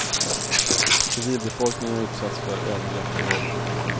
Civilbefolkningen utsätts för övergrepp och våld.